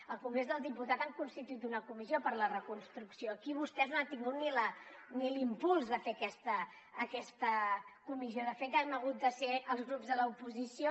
al congrés dels diputats han constituït una comissió per a la reconstrucció aquí vostès no han tingut ni l’impuls de fer aquesta comissió de fet hem hagut de ser els grups de l’oposició